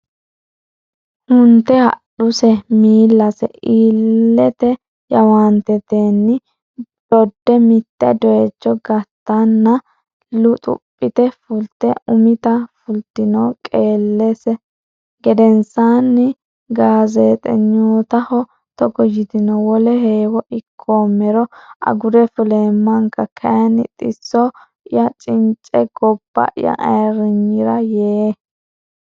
hunte hadhuse miillase iillite jawaantetenni dodde mitte doyicho gattanna luxuphite fulte umita fultino Qeellese gedensaani gaazeexenyootaho togo yitino wole heewo ikkoommero agure fuleemmanka kayinni xisso ya cince gobba ya ayirriniyira yee.